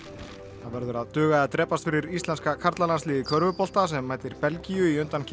það verður að duga eða drepast fyrir íslenska karlalandsliðið í körfubolta sem mætir Belgíu í undankeppni